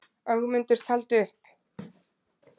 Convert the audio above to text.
Og Ögmundur taldi upp: